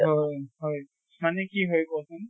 হয় হয়। মানে কি হয় কচোন